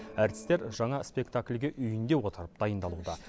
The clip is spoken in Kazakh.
әртістер жаңа спектакльге үйінде отырып дайындалуда